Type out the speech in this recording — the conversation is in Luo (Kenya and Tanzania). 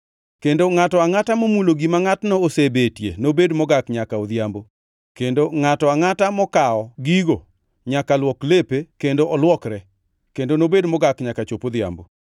kendo ngʼato angʼata momulo gima ngʼatno osebetie nobed mogak nyaka odhiambo, kendo ngʼato angʼata mokawo gigo nyaka luok lepe kendo olwokre, kendo nobed mogak nyaka chop odhiambo.